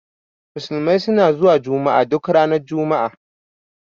Musulmi suna zuwa juma'a duk ranar juma'a.